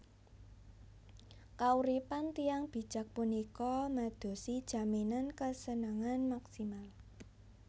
Kauripan tiyang bijak punika madosi jaminan kesenangan maksimal